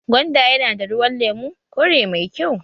Gwanda yana da ruwan lemu/kore mai kyau